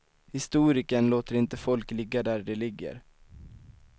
Historikern låter inte folk ligga där de ligger.